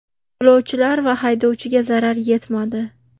Yo‘lovchilar va haydovchiga zarar yetmadi.